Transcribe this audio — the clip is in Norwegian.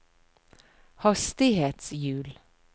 hastighetshjul